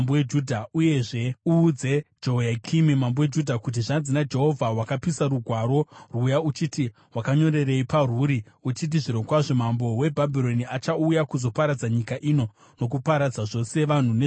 Uyezve uudze Jehoyakimi mambo weJudha, kuti, ‘Zvanzi naJehovha: Wakapisa rugwaro rwuya uchiti, “Wakanyorerei parwuri uchiti zvirokwazvo mambo weBhabhironi achauya kuzoparadza nyika ino nokuparadza zvose vanhu nezvipfuwo?”